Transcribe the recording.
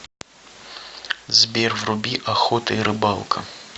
сбер вруби охота и рыбалка